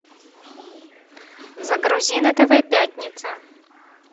загрузи на тв пятница